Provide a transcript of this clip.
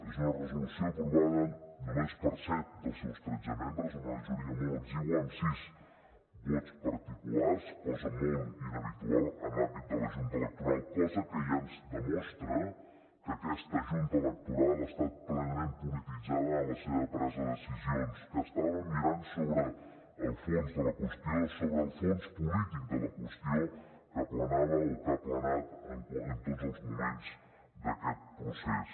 és una resolució aprovada només per set dels seus tretze membres una majoria molt exigua amb sis vots particulars cosa molt inhabitual en l’àmbit de la junta electoral cosa que ja ens demostra que aquesta junta electoral ha estat plenament polititzada en la seva presa de decisions que estaven mirant sobre el fons de la qüestió sobre el fons polític de la qüestió que planava o que ha planat en tots els moments d’aquest procés